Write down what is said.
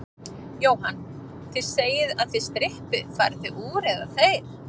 Jóhann: Þið segið að þið strippið, farið þið úr, eða þeir?